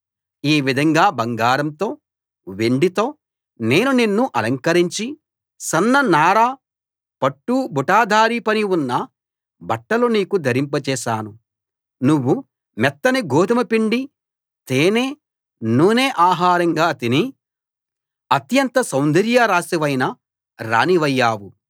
ఈ విధంగా బంగారంతో వెండితో నేను నిన్ను అలంకరించి సన్న నార పట్టు బుటాదారీ పని ఉన్న బట్టలు నీకు ధరింపజేశాను నువ్వు మెత్తని గోదుమ పిండి తేనె నూనె ఆహారంగా తిని అత్యంత సౌందర్యరాశివైన రాణివయ్యావు